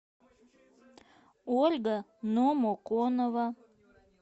ольга номоконова